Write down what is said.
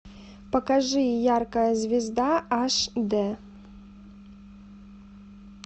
покажи яркая звезда аш д